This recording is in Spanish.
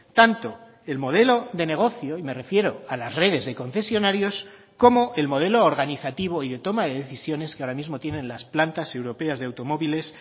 tanto el modelo de negocio y me refiero a las redes de concesionarios como el modelo organizativo y de toma de decisiones que ahora mismo tienen las plantas europeas de automóviles